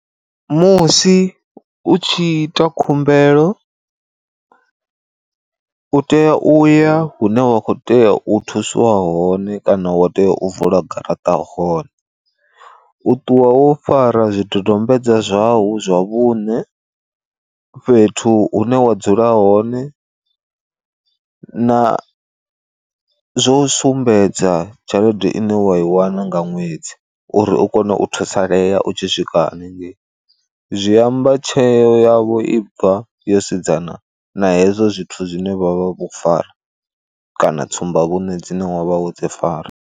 Musi u tshi ita khumbelo u tea uya hune wa kho tea u thusiwa hone kana wa tea u vula garaṱa hone, u ṱuwa wo fara zwidodombedzwa zwau zwa vhuṋe, fhethu hune wa dzula hone, na zwo sumbedza tshelede ine wa i wana nga ṅwedzi uri u kone u thusalea u tshi swika haningei, zwiamba tsheo yavho i bva yo sedzana na hezwo zwithu zwine vha vha vho fara kana tsumba vhuṋe dzine wavha wo dzi fara.